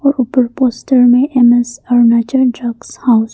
ऊपर पोस्टर में M S Arunachal drug house --